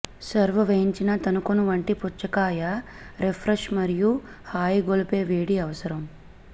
serve వేయించిన తన్నుకొను వంటి పుచ్చకాయ రిఫ్రెష్ మరియు హాయిగొలిపే వేడి అవసరం